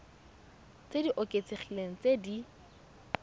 tse di oketsegileng tse di